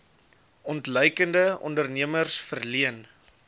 ontluikende ondernemers verleen